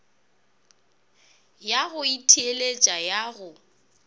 ya go itheeletša ya go